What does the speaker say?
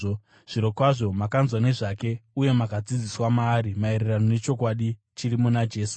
Zvirokwazvo makanzwa nezvake uye makadzidziswa maari maererano nechokwadi chiri muna Jesu.